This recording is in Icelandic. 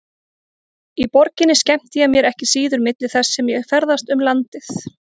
Í borginni skemmti ég mér ekki síður milli þess sem ég ferðaðist um landið.